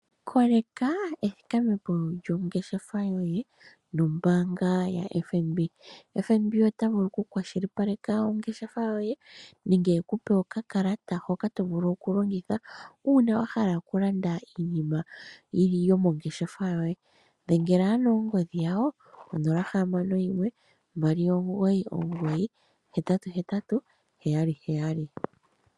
Koleka ethikamepo lyo ngeshefa yoye nombaanga yo Fnb. Ombaanga yo FNB otayi vulu okukwashilupaleka ongeshefa yoye ye otagandja okakalata hoka omuntu tavulu okulongitha uuna omuntu ahala okulanda iilandithomwa yomongeshefa. Yadhengela konomola yawo yomombelewa 0612998877